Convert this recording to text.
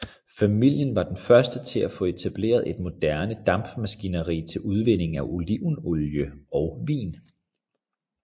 Familien var de første til at få etableret et moderne dampmaskineri til udvinding af olivenolie og vin